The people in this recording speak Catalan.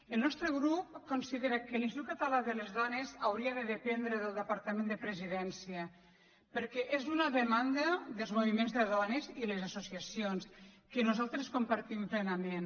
el nostre grup considera que l’institut català de les dones hauria de dependre del departament de la presidència perquè és una demanda dels moviments de dones i les associacions que nosaltres compartim plenament